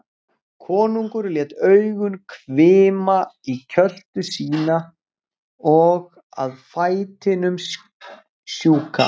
Konungur lét augun hvima í kjöltu sína og að fætinum sjúka.